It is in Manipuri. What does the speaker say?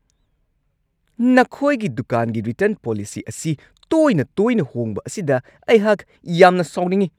ꯅꯈꯣꯏꯒꯤ ꯗꯨꯀꯥꯟꯒꯤ ꯔꯤꯇꯔꯟ ꯄꯣꯂꯤꯁꯤ ꯑꯁꯤ ꯇꯣꯏꯅ-ꯇꯣꯏꯅ ꯍꯣꯡꯕ ꯑꯁꯤꯗ ꯑꯩꯍꯥꯛ ꯌꯥꯝꯅ ꯁꯥꯎꯅꯤꯡꯉꯤ ꯫